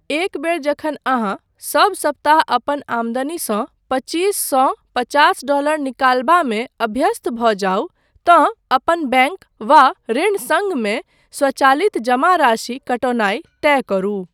एक बेर जखन अहाँ सब सप्ताह अपन आमदनीसँ पच्चीस सँ पचास डॉलर निकालबामे अभ्यस्त भऽ जाउ तँ अपन बैङ्क वा ऋण सङ्घ मे स्वचालित जमा राशि कटौनाइ तय करू।